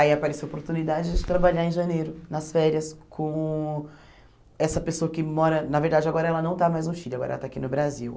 Aí apareceu a oportunidade de trabalhar em janeiro, nas férias, com essa pessoa que mora... Na verdade, agora ela não está mais no Chile, agora ela está aqui no Brasil.